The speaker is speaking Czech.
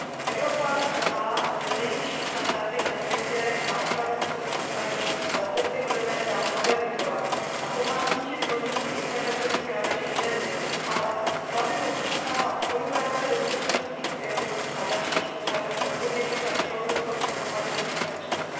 Evropa má nejvyšší standardy na světě na ochranu osobních údajů a letos je budeme dále modernizovat, což má snížit možnosti internetových krádeží identity, ale slabinou zůstává spolupráce bezpečnostních sil a dalších úřadů odpovědných za všeobecnou informační bezpečnost.